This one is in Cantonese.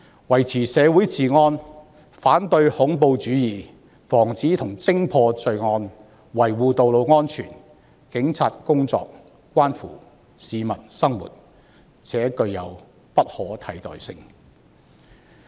維持社會治安、反對恐怖主義、防止和偵破罪案、維護道路安全，警方的工作關乎市民的生活，而且具有不可替代性。